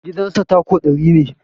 Gidan sa tako ɗari ne